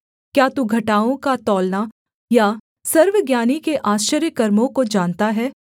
क्या तू घटाओं का तौलना या सर्वज्ञानी के आश्चर्यकर्मों को जानता है